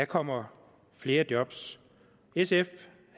kommer flere job sf